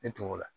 Ne tun ko la